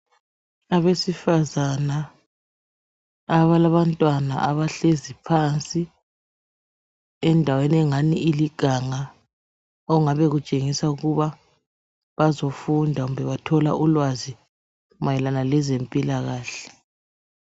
Abesifazana abalabantwanna abahlezi phansi endaweni engani iliganga okungabe kutshengisa ukuba bazofunda kumbe bathole ulwazi mayelana lezempilakahle.